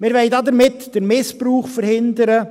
Wir wollen damit den Missbrauch verhindern.